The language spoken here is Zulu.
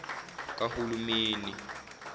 kahulumeni